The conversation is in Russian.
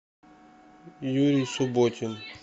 юрий субботин